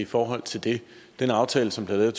i forhold til det den aftale som blev lavet